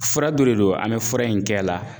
Fura dɔ de don an bɛ fura in kɛ a la